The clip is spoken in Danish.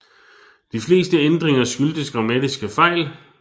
De fleste ændringer skyldtes grammatiske fejl